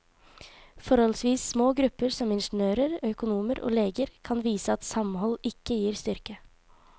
Forholdsvis små grupper som ingeniører, økonomer og leger kan vise at samhold ikke gir styrke.